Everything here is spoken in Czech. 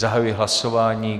Zahajuji hlasování.